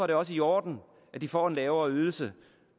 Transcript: det også i orden at de får en lavere ydelse